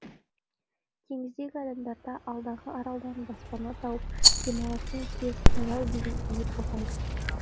теңіздегі адамдарда алдағы аралдан баспана тауып демалатын кез таяу деген үміт ұлғайды